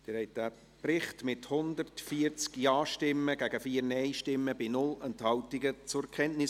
Sie haben den Bericht zur Kenntnis genommen, mit 140 Ja- gegen 4 Nein-Stimmen bei 0 Enthaltungen.